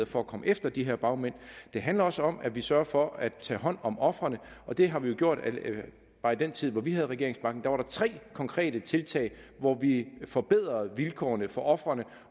for at komme efter de her bagmænd det handler også om at vi sørger for at tage hånd om ofrene og det har vi jo gjort bare i den tid hvor vi havde regeringsmagten der var der tre konkrete tiltag hvor vi forbedrede vilkårene for ofrene